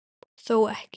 Þó ekki.